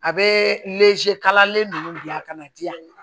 A bɛ kalalen ninnu bila ka na di yan